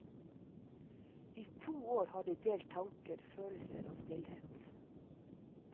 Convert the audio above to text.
I to år har de delt tanker, følelser og stillhet.